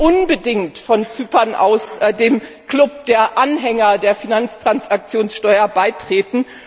Sie sollten unbedingt von Zypern aus dem Club der Anhänger der Finanztransaktionssteuer beitreten.